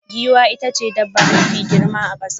Giwa itace dabba mafi girma a kasa.